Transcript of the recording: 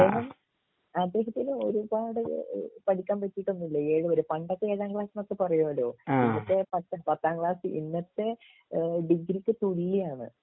അദ്ദേഹം അദ്ദേഹത്തിന് ഒരുപാട് ഈഹ് പഠിക്കാൻ പറ്റിട്ടൊന്നും ഇല്ല ഏഴ് വരെ പണ്ടത്തെ ഏഴാം ക്ലാസ് എന്നൊക്കെ പറയോലോ ഇന്നത്തെ പത്ത് പത്താം ക്ലാസ്സ് ഇന്നത്തെ ഈഹ് ഡിഗ്രിക്ക് തുല്യാണ്